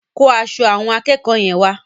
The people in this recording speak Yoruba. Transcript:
Kó aṣọ àwọn akẹ́kọ̀ọ́ yẹn wá.